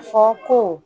Fɔ ko